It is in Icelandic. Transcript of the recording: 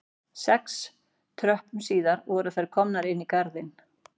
Sex tröppum síðar voru þær komnar inn í garðinn